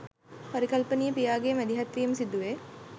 පරිකල්පනීය පියාගේ මැදිහත්වීම සිදුවේ